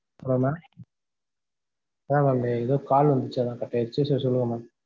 hello mam mam அந்த ஏதோ call வந்துச்சு அதனால cut ஆயிடுச்சு so சொல்லுங்க mam